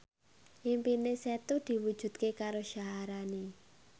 impine Setu diwujudke karo Syaharani